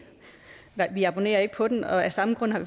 vi abonnerer ikke på den og af samme grund har